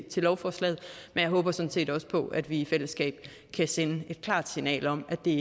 til lovforslaget men jeg håber sådan set også på at vi i fællesskab kan sende et klart signal om at det